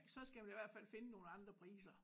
Så skal man i hvert fald finde nogle andre priser